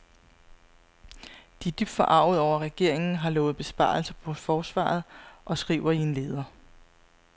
De er dybt forarget over, at regeringen har lovet besparelser på forsvaret og skriver i en leder.